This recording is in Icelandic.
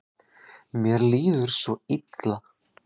Mér líður svo illa.